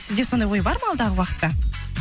сізде сондай ой бар ма алдағы уақытта